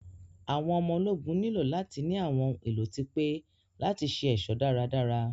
Àwọn ọmọ ológun nílò láti ní àwọn ohun èlò tí pé láti ṣe ẹ̀ṣọ́ dárádárá.